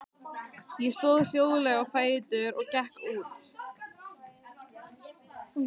Ég stóð hljóðlega á fætur og gekk út.